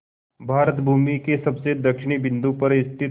भारत भूमि के सबसे दक्षिण बिंदु पर स्थित